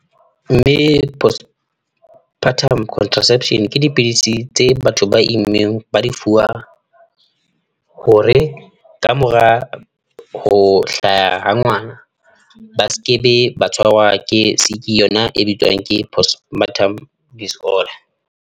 Mme, postpartum contraception ke dipidisi tse batho ba immeng ba di fuwang, hore kamora ho hlaha ha ngwana ba skebe ba tshwarwa ke siki yona e bitswang ke postpartum disorder.